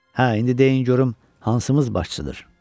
Hə, indi deyin görüm hansımız başçıdır?